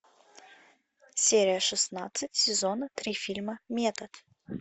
серия шестнадцать сезона три фильма метод